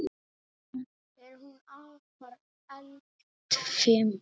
Er hún afar eldfim?